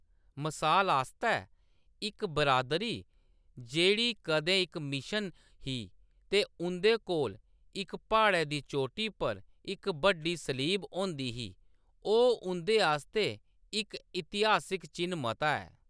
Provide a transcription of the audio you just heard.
मसाल आस्तै, इक बिरादरी जेह्‌‌ड़ी कदें इक मिशन ही ते उंʼदे कोल इक प्हाड़ै दी चोटी पर इक बड्डी सलीब होंदी ही, ओह्‌‌ उं’दे आस्तै इक इतिहासिक चिʼन्न मता ऐ।